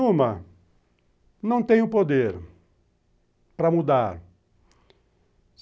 Uma, não tenho poder para mudar.